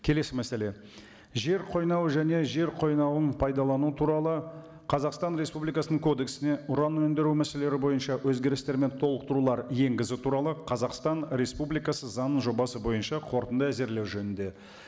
келесі мәселе жер қойнауы және жер қойнауын пайдалану туралы қазақстан республикасының кодексіне уран өндіру мәселелері бойынша өзгерістер мен толықтырулар енгізу туралы қазақстан республикасы заң жобасы бойынша қорытынды әзірлеу жөнінде